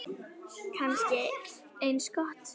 Kannski eins gott.